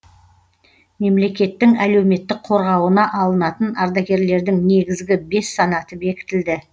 мемлекеттің әлеуметтік қорғауына алынатын ардагерлердің негізгі бес санаты бекітілді